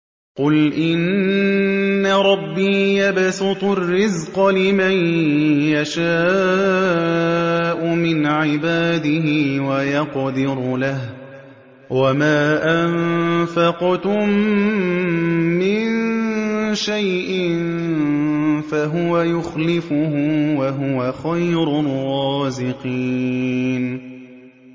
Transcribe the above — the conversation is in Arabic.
قُلْ إِنَّ رَبِّي يَبْسُطُ الرِّزْقَ لِمَن يَشَاءُ مِنْ عِبَادِهِ وَيَقْدِرُ لَهُ ۚ وَمَا أَنفَقْتُم مِّن شَيْءٍ فَهُوَ يُخْلِفُهُ ۖ وَهُوَ خَيْرُ الرَّازِقِينَ